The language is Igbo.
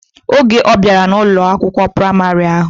Oge obiara na Ụlọ akwụkwọ praịmarị ahụ.